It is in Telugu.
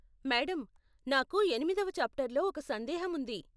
మేడం, నాకు ఎనిమిదవ చాప్టర్లో ఒక సందేహం ఉంది.